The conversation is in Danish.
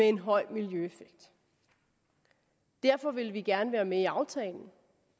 en høj miljøeffekt derfor ville vi gerne være med i aftalen